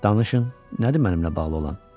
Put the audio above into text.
Danışın, nədir mənimlə bağlı olan?